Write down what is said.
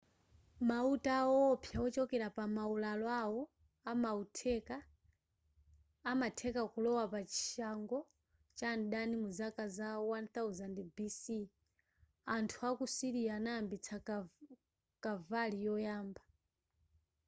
mauta awo owopsa wochokera pa maularo awo amatheka kulowa pachishango cha mdani mu zaka za 1000 bc anthu aku syria anayambitsa kavali yoyamba